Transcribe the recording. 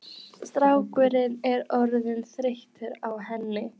Strákurinn er orðinn þreyttur á henni.